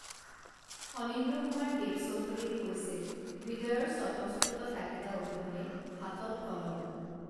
ফনীন্দ্ৰ কুমাৰ দেৱচৌধুৰীয়ে কৈছিল হৃদয়ৰ স্বতঃস্ফূৰ্ত তাগিদা অবিহনে হাতত কলম